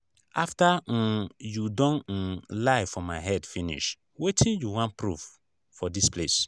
after um you don um lie for my head finish wetin you wan proof for dis place?